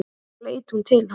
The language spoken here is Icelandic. Þá leit hún til hans.